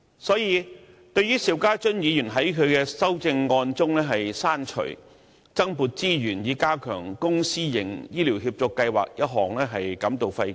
所以，對於邵家臻議員在其修正案中刪除"增撥資源以加強公私營醫療協作計劃"一項，我們感到費解。